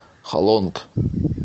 халонг